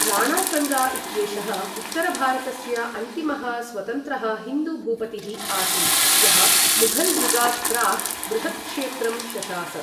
राणासङ्गा इत्येषः उत्तरभारतस्य अन्तिमः स्वतन्त्रः हिन्दू भूपतिः आसीत् यः मुघल् युगात् प्राक् बृहत्क्षेत्रं शशास।